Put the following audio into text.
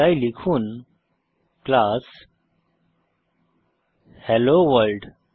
তাই লিখুন class hello world